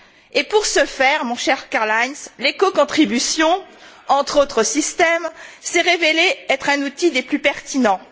Et pour ce faire, mon cher Karl Heinz, l'écocontribution, entre autres systèmes, s'est révélée être un outil des plus pertinents.